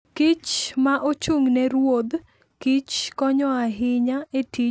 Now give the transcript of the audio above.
kich ma ochung' ne ruodh kich konyo ahinya e tij chwoyo kodhi kodkich.